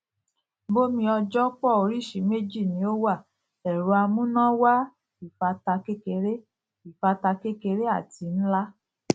bomeojobph oríṣìí méjì ni ó wà ẹrọamúnáwá ìfátà kékeré ìfátà kékeré àti nlá